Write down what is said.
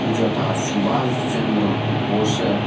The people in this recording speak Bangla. যথা সুভাষ চন্দ্র বোস -এর--